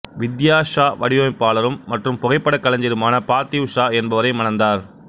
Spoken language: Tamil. வித்யா ஷா வடிவமைப்பாளரும் மற்றும் புகைப்படக் கலைஞருமான பார்த்திவ் ஷா என்பவரை மணந்தார்